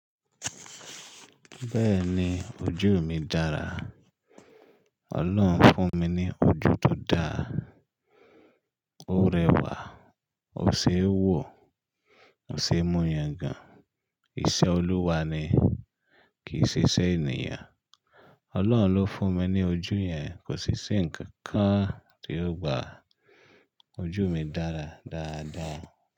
Bẹ́ẹ̀ni ojú mi dára. Ọlọ́run fún mi ní ojú tó dára. Ó rẹwà, ó ṣe é wò, ó ṣe é mú yàn gan. Iṣẹ́ Olúwa ni, kì í ṣe iṣẹ́ ènìyàn. Ọlọ́run ló fún mi ní ojú yẹn. Kò sí iṣẹ́ nkankan tí yóò gba ojú mi dára dáadáa.